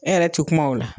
E yɛrɛ tɛ kuma o la